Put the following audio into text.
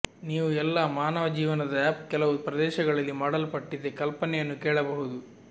ನೀವು ಎಲ್ಲಾ ಮಾನವ ಜೀವನದ ಅಪ್ ಕೆಲವು ಪ್ರದೇಶಗಳಲ್ಲಿ ಮಾಡಲ್ಪಟ್ಟಿದೆ ಕಲ್ಪನೆಯನ್ನು ಕೇಳಬಹುದು